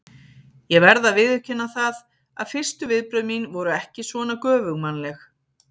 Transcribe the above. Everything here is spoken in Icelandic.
Ég verð að viðurkenna það að fyrstu viðbrögð mín voru ekki svona göfugmannleg.